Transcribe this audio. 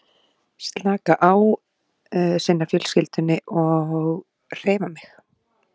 En var það þá persónulegt á milli Ingibjargar og Þorgerðar?